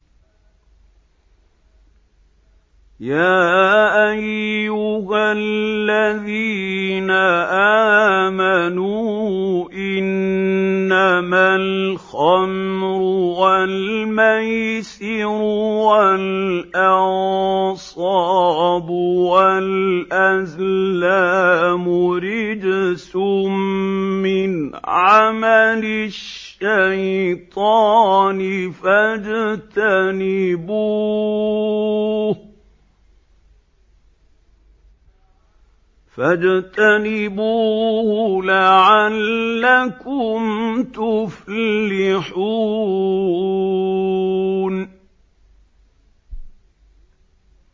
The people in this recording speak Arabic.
يَا أَيُّهَا الَّذِينَ آمَنُوا إِنَّمَا الْخَمْرُ وَالْمَيْسِرُ وَالْأَنصَابُ وَالْأَزْلَامُ رِجْسٌ مِّنْ عَمَلِ الشَّيْطَانِ فَاجْتَنِبُوهُ لَعَلَّكُمْ تُفْلِحُونَ